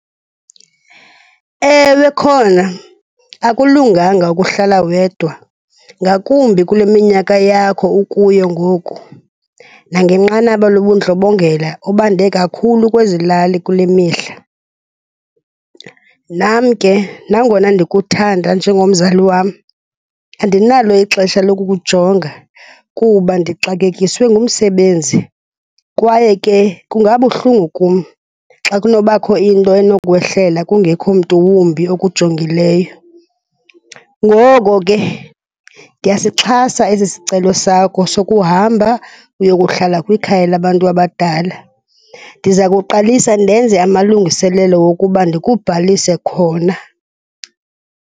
Ewe khona, akulunganga ukuhlala wedwa ngakumbi kule minyaka yakho ukuyo ngoku nangenqanaba lobundlobongela obande kakhulu kwezi lali kule mihla. Nam ke, nangona ndikuthanda njengomzali wam, andinalo ixesha lokukujonga kuba ndixakekiswe ngumsebenzi kwaye ke kungabuhlungu kum xa kunobakho into enokwehlela kungekho mntu wumbi okujongileyo. Ngoko ke ndiyasixhasa esi sicelo sakho sokuhamba uyokuhlala kwikhaya labantu abadala. Ndiza kuqalisa ndenze amalungiselelo wokuba ndikubhalise khona.